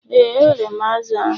Ee, eghere m azụ̀ ahụ.